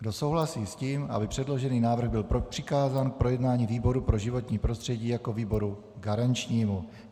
Kdo souhlasí s tím, aby předložený návrh byl přikázán k projednání výboru pro životní prostředí jako výboru garančnímu?